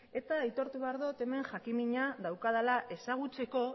eta aitortu behar dut hemen jakinmina daukadala ezagutzeko